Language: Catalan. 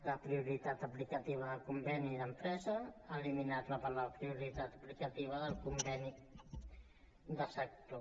la prioritat aplicativa del conveni d’empresa ha eliminat la prioritat aplicativa del conveni de sector